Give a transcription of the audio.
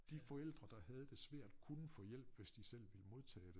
De forældre der havde det svært kunne få hjælp hvis de selv ville modtage det